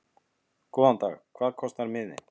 Góðan dag. Hvað kostar miðinn?